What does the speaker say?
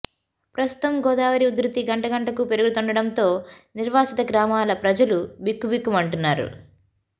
ప్రస్తుతం గోదావరి ఉధృతి గంట గంటకు పెరుగుతుండడంతో నిర్వాసిత గ్రామాల ప్రజలు బిక్కుబిక్కుమంటున్నారు